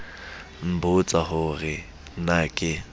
nbotsa ho re na ke